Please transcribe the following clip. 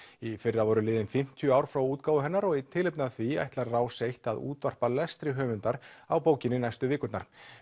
í fyrra voru liðin fimmtíu ár frá útgáfu hennar og í tilefni af því ætlar Rás eins að útvarpa lestri höfundar á bókinni næstu vikurnar